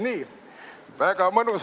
Nii, väga mõnus.